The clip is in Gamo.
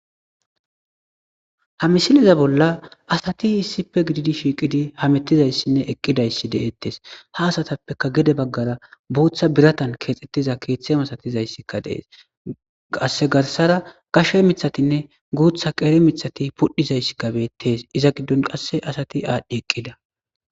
Ha misileza bolla asati issippe shiiqidi hametizayssinne eqqidaysi de'etees. Ha asatapeka gede baggara booththa biratan keexetida keeththe masatizaysika dees. Qasse garsa baggara guutha miththatine qeeri gashara miththati pudhizaysi beetees. Iza giddon qasse asati aadhi eqida.